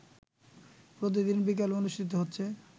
প্রতিদিন বিকেলে অনুষ্ঠিত হচ্ছে